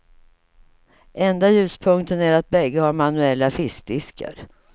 Enda ljuspunkten är att bägge har manuella fiskdiskar.